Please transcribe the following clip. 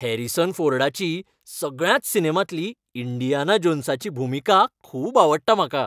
Harrison फोर्डाची सगळ्याच सिनेमांतली इंडियाना जोन्साची भुमिका खूब आवडटा म्हाका.